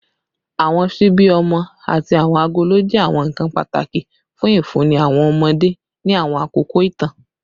Awọn ṣibi ọmọ ati awọn agolo jẹ awọn nkan pataki fun ifunni awọn ọmọde ni awọn akoko itan